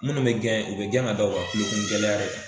Minnu bɛ gɛn u bɛ gɛn ka da u ka kulokun gɛlɛya de kan.